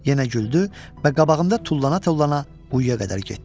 Yenə güldü və qabağımda tullana-tullana quyuya qədər getdi.